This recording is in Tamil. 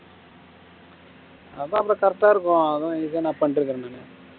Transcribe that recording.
அதான் correct ஆ இருக்கும் அது இதுனு பன்னிட்டு இருக்கேன் நானு